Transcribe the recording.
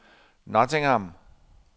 Nottingham